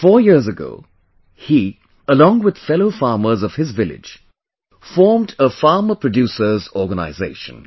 Four years ago, he, along with fellow farmers of his village, formed a Farmer Producer's Organization